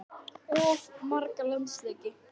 Of marga landsleiki?